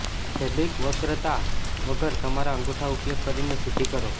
fabric વક્રતા વગર તમારા અંગૂઠા ઉપયોગ કરીને સીધી કરો